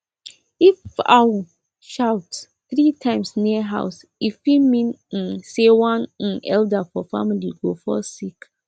if owl shout three times near house e fit mean um say one um elder for family go fall sick